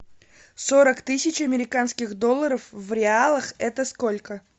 сорок тысяч американских долларов в реалах это сколько